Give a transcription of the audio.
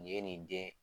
Nin ye nin den